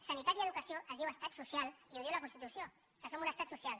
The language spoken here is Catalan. sanitat i educació es diu estat social i ho diu la constitució que som un estat social